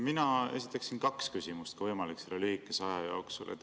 Mina esitaksin kaks küsimust, kui võimalik, selle lühikese aja jooksul.